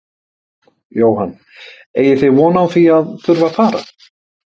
Jóhann: Eigið þið von á því að þurfa fara?